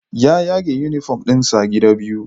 Ya yaga uniform ɗinsa gida biyu